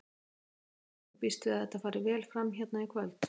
Andri: Og þú býst við að þetta fari vel fram hérna í kvöld?